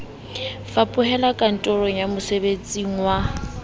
fapohela kantorong ya mosebeletsing wa